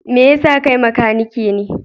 Me yasa kai makanike ne?